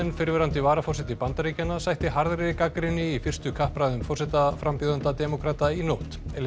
fyrrverandi varaforseti Bandaríkjanna sætti harðri gagnrýni í fyrstu kappræðum forsetaframbjóðenda demókrata í nótt